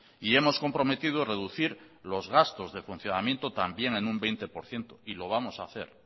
y hemos comprometido reducir los gastos de funcionamiento también en un veinte por ciento y lo vamos hacer